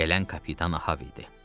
Gələn Kapitan Ahab idi.